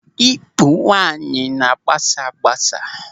Ikpu nwaanyị na-agbasa agbasa.